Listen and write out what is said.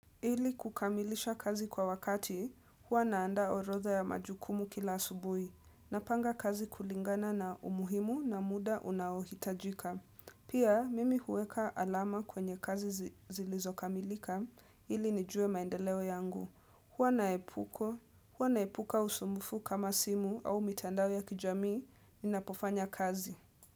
Ili kukamilisha kazi kwa wakati, hua naanda orodha ya majukumu kila asubuhi. Napanga kazi kulingana na umuhimu na muda unaohitajika. Pia, mimi huweka alama kwenye kazi zilizokamilika, ili nijue maendeleo yangu. Huwa naepuka usumbufu kama simu au mitandao ya kijamii, ninapofanya kazi.